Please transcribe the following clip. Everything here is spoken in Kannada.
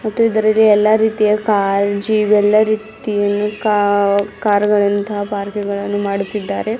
ಮತ್ತು ಇದರಲ್ಲಿ ಎಲ್ಲಾ ರೀತಿಯ ಕಾರ್ ಜೀಪ್ ಯಲ್ಲಾ ರೀತಿಯ ಕಾರ್ ಗಳಂತಹ ಪಾರ್ಕ್ ಗಳನ್ನು ಮಾಡುತ್ತಿದ್ದಾರೆ.